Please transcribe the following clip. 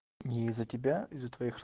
не из-за тебя из-за твоих